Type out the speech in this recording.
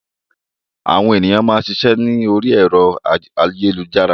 Àwọn ènìyàn máa ń ṣiṣẹ́ ni ori ẹ̀rọ ayélujára.